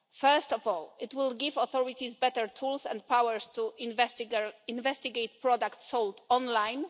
First of all, it will give authorities better tools and powers to investigate products sold online.